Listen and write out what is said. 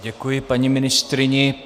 Děkuji paní ministryni.